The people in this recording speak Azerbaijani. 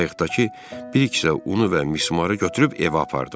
Qayıqdakı bir kisə unu və mismarı götürüb evə apardım.